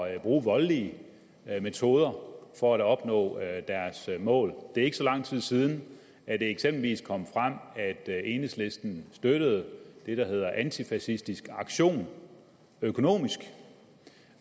at bruge voldelige metoder for at opnå deres mål det er ikke så lang tid siden at det eksempelvis kom frem at enhedslisten støttede det der hedder antifascistisk aktion økonomisk